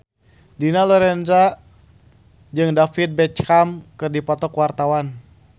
Dina Lorenza jeung David Beckham keur dipoto ku wartawan